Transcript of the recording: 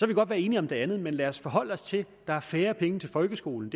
vi godt være enige om det andet men lad os forholde os til at der er færre penge til folkeskolen